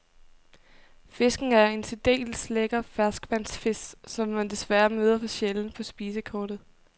Fisken er en særdeles lækker ferskvandsfisk, som man desværre møder for sjældent på spisekortet.